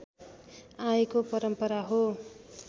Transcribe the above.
आएको परम्परा हो